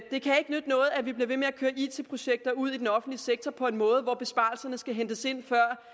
det kan ikke nytte noget at vi bliver ved med at køre it projekter ud i den offentlige sektor på en måde hvor besparelserne skal hentes ind